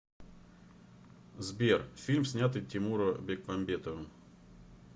сбер фильм снятый тимура бекмамбетовым